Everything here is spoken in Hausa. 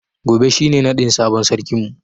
Gobe shi ne naɗin sabon sarkin mu.